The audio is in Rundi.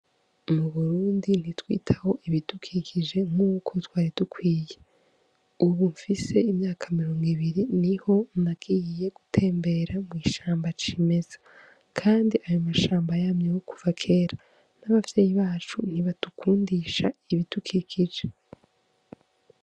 Mu Burundi ntitwitaho ibidukikije nk'uko twari dukwiye. Ubu mfise imyaka mirongo ibiri niho nagiye gutembera mw'ishamba cimeza kandi ayi mashamba yamyeho kera, n'abavyeyi bacu ntibadukundisha ibidukikije.